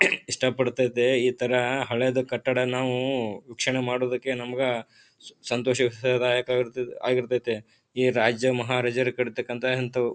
ಇಷ್ಟ ಪಡ್ತಾ ಇದ್ದೆ ಇತರ ಹಳೆದು ಕಟ್ಟಡ ನಾವು ವೀಕ್ಷಣೆ ಮಾಡುವುದಕ್ಕೆ ನಮ್ಗ ಸಂತೋಷ ಸದಾಯಕವಿರುತ್ತದೆ ಆಗಿರತ್ತತೆ. ಈ ರಾಜ್ಯ ಮಹಾರಾಜರು ಕಟ್ಟತಕಂತ ಇಂತವು--